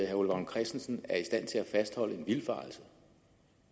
herre ole vagn christensen er i stand til at fastholde en vildfarelse